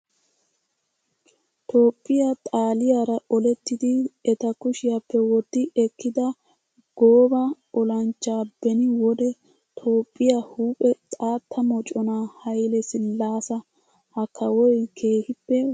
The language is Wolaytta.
Toophphiyaa xaaliyaara olettidi eta kushiyappe wotti ekkida gooba olanchchaa beni wode toophphiyaa huuphe xaatta moconaa hayile sillaasa. Ha kawoyi keehippe wolqqaama.